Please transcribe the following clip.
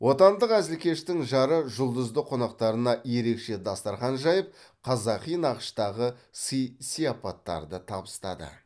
отандық әзілкештің жарық жұлдызды қонақтарына ерекше дастархан жайып қазақи нақыштағы сый сыяпаттарды табыстады